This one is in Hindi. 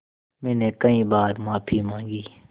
मैंने कई बार माफ़ी माँगी